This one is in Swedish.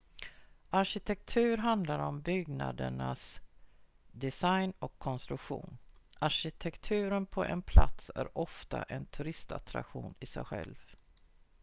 arkitektur handlar om byggnaders design och konstruktion arkitekturen på en plats är ofta en turistattraktion i sig själv